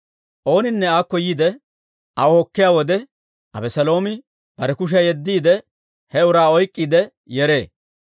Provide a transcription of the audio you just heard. Ooninne aakko yiide aw hokkiyaa wode, Abeseeloomi bare kushiyaa yeddiide, he uraa oyk'k'iide yeree.